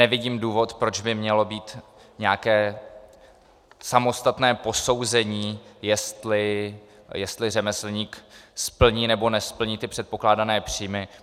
Nevidím důvod, proč by mělo být nějaké samostatné posouzení, jestli řemeslník splní nebo nesplní ty předpokládané příjmy.